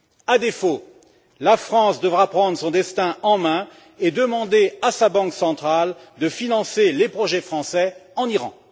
À défaut, la France devra prendre son destin en main et demander à sa banque centrale de financer les projets français en Iran.